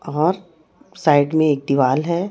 और साइड में एक दीवाल है।